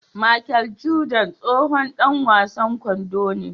Machel Jordan tsohon Dan wasan kwando ne